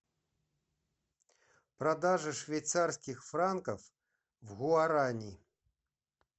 продажа швейцарских франков в гуарани